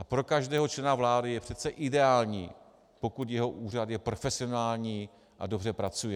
A pro každého člena vlády je přece ideální, pokud jeho úřad je profesionální a dobře pracuje.